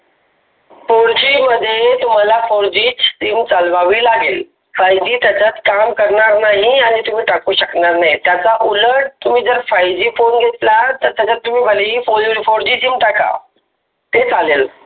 fourG मध्ये तुम्हाला fourG च sim चालवावी लागेल. fiveG त्याच्यात काम करणार नाही आणि त्याच्यात टाकू शकणार नाही. त्याचा उलट तुम्ही, fiveG फोन घेतला तर त्याच्या fourG च sim टाक ते चालेल.